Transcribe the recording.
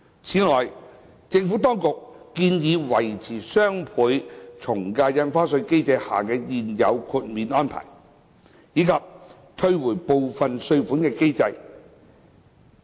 此外，政府當局建議維持雙倍從價印花稅機制下的現有豁免安排，以及退回部分稅款的機制。